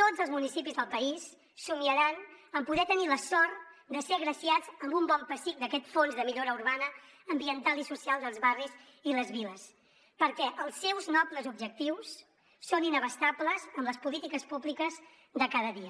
tots els municipis del país somiaran en poder tenir la sort de ser agraciats amb un bon pessic d’aquest fons de millora urbana ambiental i social dels barris i les viles perquè els seus nobles objectius són inabastables amb les polítiques públiques de cada dia